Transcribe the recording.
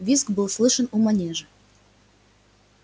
визг был слышен у манежа